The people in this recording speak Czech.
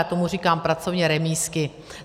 Já tomu říkám pracovně remízky.